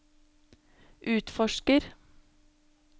utforsker